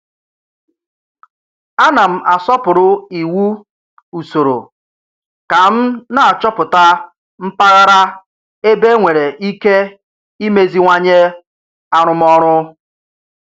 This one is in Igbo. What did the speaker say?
A na m asọpụrụ iwu usoro ka m na-achọpụta mpaghara ebe enwere ike imeziwanye arụmọrụ